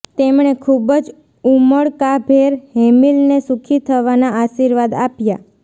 તેમણે ખૂબ જ ઉમળકાભેર હેમિલને સુખી થવાના આશીર્વાદ આપ્યા